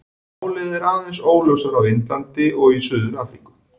Málið er aðeins óljósara á Indlandi og í Suður-Afríku.